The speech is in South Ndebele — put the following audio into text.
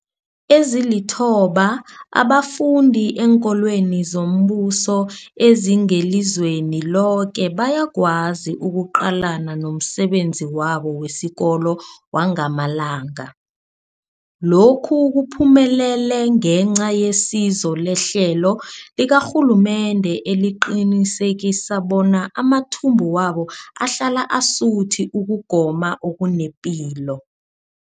Ezilithoba abafunda eenkolweni zombuso ezingelizweni loke bayakwazi ukuqalana nomsebenzi wabo wesikolo wangamalanga. Lokhu kuphumelele ngenca yesizo lehlelo likarhulumende eliqinisekisa bona amathumbu wabo ahlala asuthi ukugoma okunepilo.